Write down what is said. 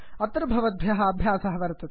अत्र भवद्भ्यः अभ्यासः वर्तते